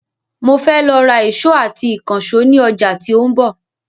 Mo fẹ́ lọ ra èsó àti ìkànsó ni ọjà tí òun bò